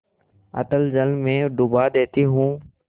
अतल जल में डुबा देती हूँ